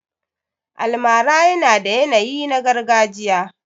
Almara yana da yanayi na gargajiya.